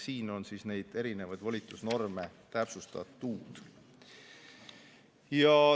Siin on neid erinevaid volitusnorme täpsustatud.